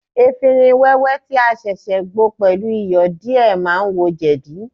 Efinrin wẹ́wẹ́ tí a ṣẹ̀ṣẹ̀ gbo pẹ̀lú Iyọ̀ díè ma ń wo jẹ̀dí.